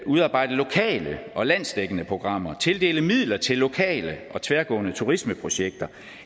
udarbejde lokale og landsdækkende programmer tildele midler til lokale og tværgående turismeprojekter